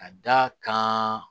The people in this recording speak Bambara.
Ka da kan